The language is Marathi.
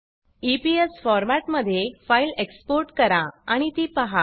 ईपीएस फॉर्मॅट मध्ये फाइल एक्सपोर्ट करा आणि ती पहा